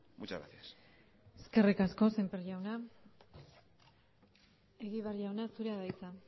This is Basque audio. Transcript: muchas gracias eskerrik asko sémper jauna egibar jauna zurea da hitza